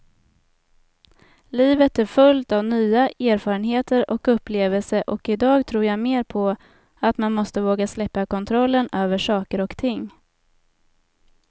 Livet är fullt av nya erfarenheter och upplevelser och idag tror jag mer på att man måste våga släppa kontrollen över saker och ting.